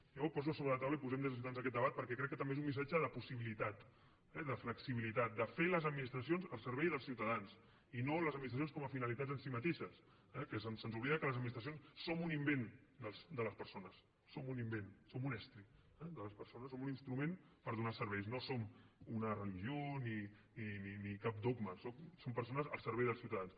jo ho poso sobre la taula i posem des de ciutadans aquest debat perquè crec que també és un missatge de possibilitat eh de flexibilitat de fer les administracions al servei dels ciutadans i no les administracions com a finalitat en si mateixes eh que se’ns oblida que les administracions som un invent de les persones som un invent som un estri de les persones som un instrument per donar serveis no som una religió ni cap dogma som persones al servei dels ciutadans